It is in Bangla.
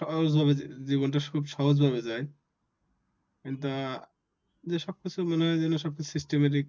সহজ হবে, জীবনটা সহজভাবে যায় কিন্তু আহ সব কিছু মনে হয় যেন সব কিছু Systematic